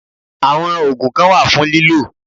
Àwọn ògùn kan wà fún lílò